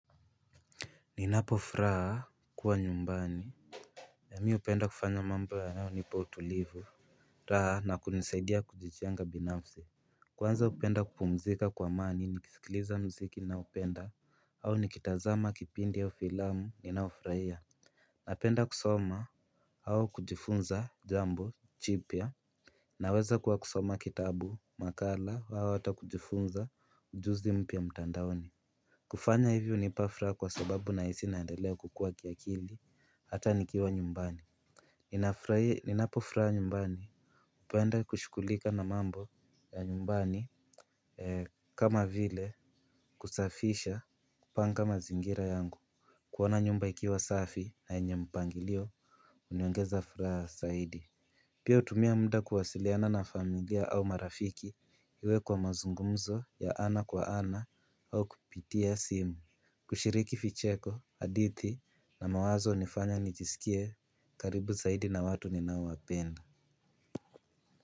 Ninapofuraha kuwa nyumbani mi upenda kufanya mambo yanayonipa utulivu. Raha na kunisaidia kujijenga binafsi. Kwanza upenda kupumzika kwa amani na kusikiliza mziki ninaopenda. Au nikitazama kipindi au filamu ninayofurahia. Napenda kusoma au kujifunza jambo jipya. Naweza kwa kusoma kitabu makala au hata kujifunza ujuzi mpya mtandaoni. Kufanya hivi unipafuraha kwa sababu na hisi naendelea kukua kiakili hata nikiwa nyumbani. Ninapofuraha nyumbani upenda kushugulika na mambo ya nyumbani kama vile kusafisha kupanga mazingira yangu. Kuona nyumba ikiwa safi na yenye mpangilio uniongeza furaha zaidi. Pia utumia muda kuwasiliana na familia au marafiki iwe kwa mazungumzo ya ana kwa ana au kupitia simu. Kushiriki vicheko hadithi na mawazo unifanya nijisikie karibu zaidi na watu ninao wapenda.